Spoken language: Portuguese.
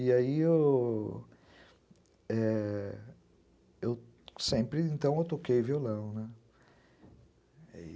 E aí eu, é... sempre, então, eu toquei violão, né?